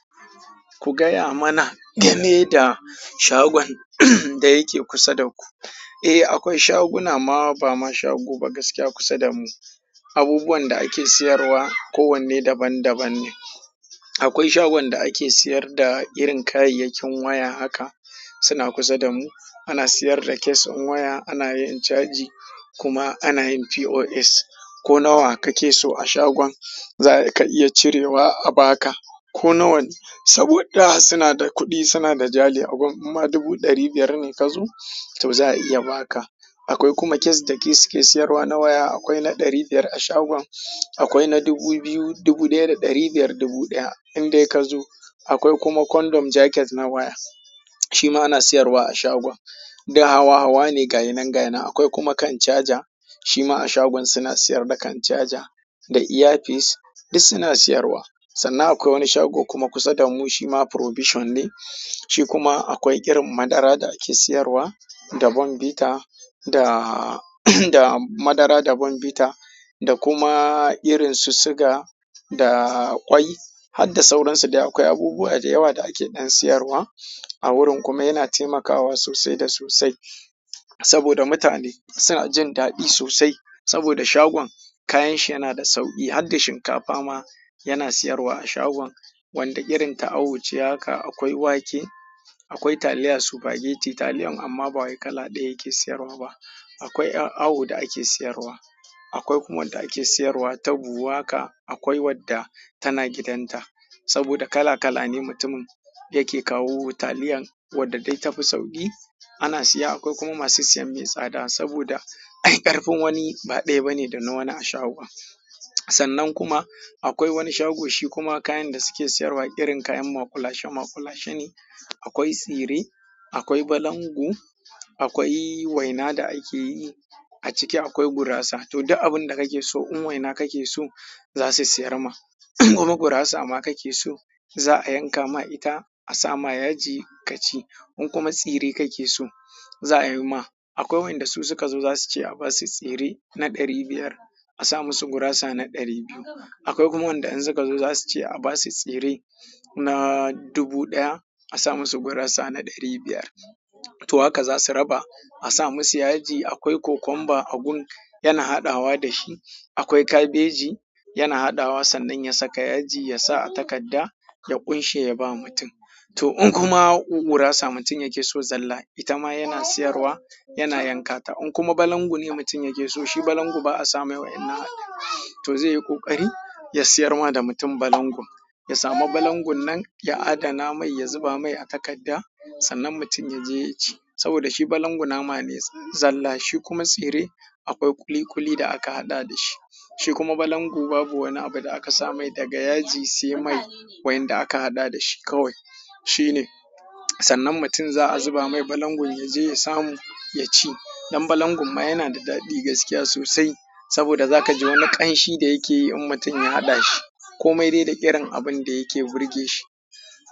Ku gaya mana game da shagon da yake kusa da ku. Eh, akwai shaguna ma ba ma shago ba gaskiya kusa da mu. Abubuwan da ake siyarwa kowanne daban-daban ne. Akwai shagon da ake siyar da irin kayayyakin waya haka. Suna kusa da mu. Ana siyar da case ɗin waya, ana yin caji kuma ana yin POS. Ko nawa kake so a shagon za ka iya cirewa a baka ko nawane. Saboda suna da kuɗi, suna da jari a gun. In ma dubu ɗari biyar ne ka zo to za a iya ba ka. Akwai kuma case da ke suke siyarwa na waya. Akwai na ɗari biyar a shagon, akwai na dubu biyu, dubu ɗaya da ɗari biyar, dubu ɗaya in dai ka zo. Akwai kuma kondom jaket na waya. Shi ma ana siyarwa a shagon. Duk hawa-hawa ne, gayi nan gayi nan. Akwai kuma kan caja. Shi ma a shagon suna siyar da kan caja da ear-piece. Duk suna siyarwa. Sannan akwai wani shago kuma kusa da mu shi ma provision ne. Shi kuma akwai irin madara da ake siyarwa da bonbita da, da madara da bonbita da kuma irinsu suga da ƙwai har da sauransu dai akwai abubuwa da yawa da ake ɗan siyarwa a wurin kuma yana taimakawa sosai da sosai. Saboda mutane suna jin daɗi sosai. Saboda shagon kayan shi yana da sauƙi har da shinkafa ma yana siyarwa a shagon wanda irin ta awo ce haka akwai wake, akwai taliya, spaghetti taliyan amma ba wai kala ɗaya yake siyarwa ba. Akwai a-awo da ake siyarwa. Akwai kuma wanda ake siyarwa ta buhu haka. Akwai wadda tana gidan ta saboda kala kala ne mutumin da yake kawo taliyan wadda dai tafi sauƙi ana siya. Akwai kuma masu siyan mai tsada saboda ai ƙarfin wani ba ɗaya ba ne da na wani a shagon. Sannan kuma akwai wani shago shi kuma kayan da suke siyarwa irin kayan makulashe-makulashe ne. Akwai tsire, akwai balangu, akwai waina da ake yi a ciki akwai gurasa. To duk abinda kake so in waina kake so zasu siyarma kuma gurasa ma kake so za a yanka ma ita a sa ma yaji ka ci. In kuma tsire kake so za a yi ma. Akwai wanda su suka zo za su ce a ba su tsire na ɗari biyar, a sa musu gurasa na ɗari biyu. Akwai kuma wanda in suka zo za su ce a ba su tsire na dubu ɗaya, a sa musu gurasa na ɗari biyar. To haka za su raba a sa musu yaji. Akwai cucumber a gun yana haɗawa da shi. Akwai kabeji yana haɗawa sannan ya saka yaji, ya sa a takadda ya ƙunshe ya ba mutum. To in kuma gurasa mutum yake so zalla ita ma yana siyarwa yana yankata. In kuma balangu ne mutum yake so, shi balangu ba a sa mai wa'innan. To zai yi ƙoƙari ya siyar ma da mutum balangun. Ya samu balangun nan ya adana mai, ya zuba mai a takadda sannan mutum ya je ya ci. Saboda shi balangu nama ne zalla. Shi kuma tsire akwai ƙuli-ƙuli da aka haɗa dashi shi kuma balangu babu wani abu da aka sa mai daga yaji sai mai wa'inda aka haɗa dashi kawai shi ne. Sannan mutum za a zuba mai balangun ya je ya samu ya ci. Dan balangun ma yana daɗi gaskiya sosai saboda zaka ji wani ƙamshi da yake yi in mutum ya haɗa dashi komai da irin abun da yake burge shi.